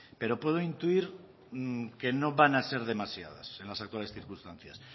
pero puedo intuir que no van a ser demasiadas en las actuales circunstancias